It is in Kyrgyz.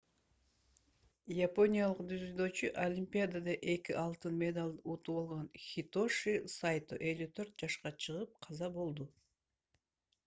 япониялык дзюдочу олимпиадада 2 алтын медалды утуп алган хитоши сайто 54 чыгып каза болду